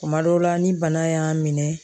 Kuma dɔw la ni bana y'a minɛ